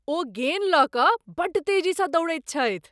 ओ गेन लऽ कऽ बड़ तेजीसँ दौड़ैत छथि!